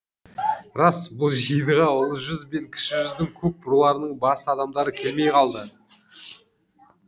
рас бұл жиынға ұлы жүз бен кіші жүздің көп руларының басты адамдары келмей қалды